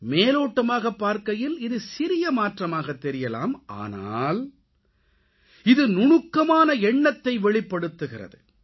மேலோட்டமாகப் பாரக்கையில் இது சிறிய மாற்றமாகத் தெரியலாம் ஆனால் இது நுணுக்கமான எண்ணத்தை வெளிப்படுத்துகிறது